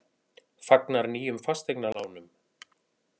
Fagnar nýjum fasteignalánum